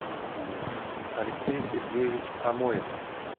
алексей сергеевич амоев